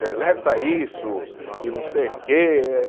Deleta isso e não sei o quê.